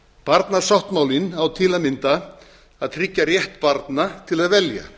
barnasáttmálinn á til að mynda að tryggja rétt barna til að velja